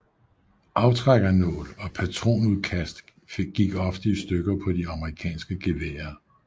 Aftrækkernål og patronudkast gik ofte i stykker på de amerikanske geværer